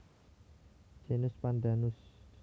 Genus Pandanus